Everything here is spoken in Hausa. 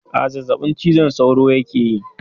Aa, zazzabin cizon sauro yake yi